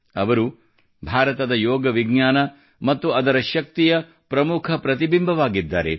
ಅವರು ಭಾರತದ ಯೋಗ ವಿಜ್ಞಾನ ಮತ್ತು ಅದರ ಶಕ್ತಿಯ ಪ್ರಮುಖ ಪ್ರತಿಬಿಂಬವಾಗಿದ್ದಾರೆ